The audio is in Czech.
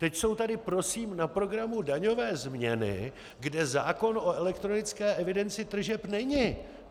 Teď jsou tady prosím na programu daňové změny, kde zákon o elektronické evidenci tržeb není.